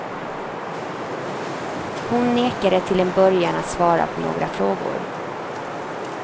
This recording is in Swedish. Hon nekade till en början att svara på några frågor.